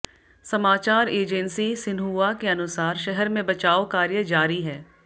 समाचार agency Xinhua के अनुसार शहर में बचाव कार्य जारी है